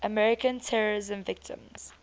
american terrorism victims